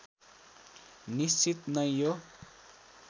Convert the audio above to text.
निश्चित नै यो